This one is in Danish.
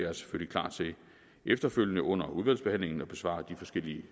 er selvfølgelig klar til efterfølgende under udvalgsbehandlingen at besvare de forskellige